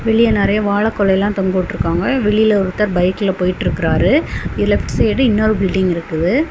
வெளிய நெறைய வாழ கொலையெல்லாம் தொங்க விட்ருக்காங்க. வெளில ஒருத்தர் பைக்ல போயிற்றுக்குறாரு. இலெப்ட் சைடு இன்னொரு பில்டிங் இருக்குது.